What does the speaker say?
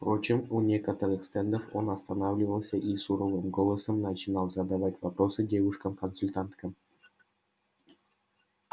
впрочем у некоторых стендов он останавливался и суровым голосом начинал задавать вопросы девушкам-консультанткам